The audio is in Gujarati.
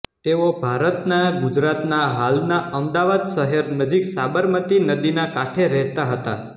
તેઓ ભારતના ગુજરાતના હાલના અમદાવાદ શહેર નજીક સાબરમતી નદીના કાંઠે રહેતા હતા